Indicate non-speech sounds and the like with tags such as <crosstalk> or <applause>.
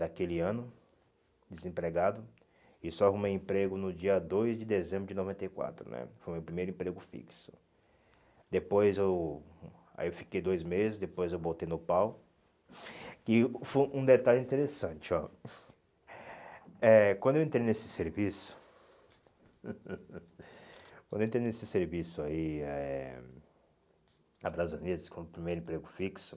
Daquele ano Desempregado E só arrumei emprego no dia dois de dezembro de noventa e quatro né Foi o meu primeiro emprego fixo. Depois eu hum Aí eu fiquei dois meses Depois eu botei no pau E foi um detalhe interessante ó eh Quando eu entrei nesse serviço <laughs> Quando eu entrei nesse serviço aí eh Na, <unintelligible> como meu primeiro emprego fixo